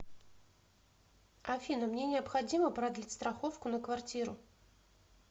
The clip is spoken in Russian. афина мне необходимо продлить страховку на квартиру